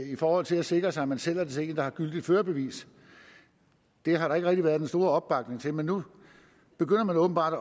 i forhold til at sikre sig at man sælger til en der har gyldigt førerbevis det har der ikke været den store opbakning til men nu begynder man åbenbart